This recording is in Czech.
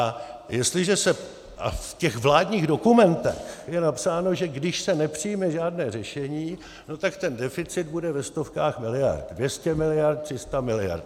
A v těch vládních dokumentech je napsáno, že když se nepřijme žádné řešení, no tak ten deficit bude ve stovkách miliard - 200 miliard, 300 miliard.